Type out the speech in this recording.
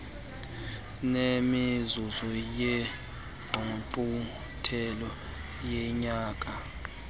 nemizuzu yengqungquthela yonyaka